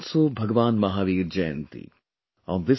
Today is also Bhagwan Mahavir Jayanti